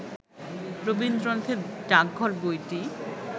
রবীন্দ্রনাথের ডাকঘর বইটি